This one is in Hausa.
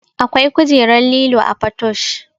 Akwai kujerar lilo a patoosh